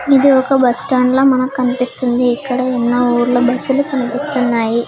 ఇది ఒక బస్ స్టాండ్లా మనకి కనిపిస్తుంది ఇక్కడ ఎన్నో ఊర్ల బస్సులు కనిపిస్తున్నాయి.